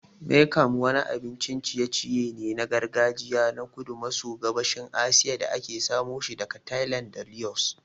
Miang kham wani abincin ciye-ciye ne na gargajiya na kudu maso gabashin Asiya da aka samoshi daga Thailand da Laos.